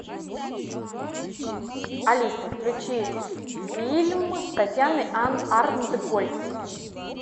алиса включи фильм с татьяной арнтгольц